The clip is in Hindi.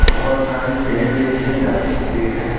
बहुत सारे पेड़ देखे जा सकते हैं।